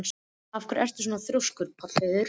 Af hverju ertu svona þrjóskur, Pálheiður?